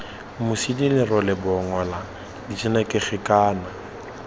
mosidi lerole bongola ditshenekegi kana